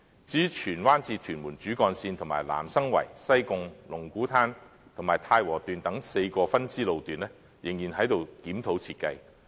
至於荃灣至屯門主幹線及南生圍、西貢、龍鼓灘及太和段等4條分支路段，仍然在檢討設計的階段。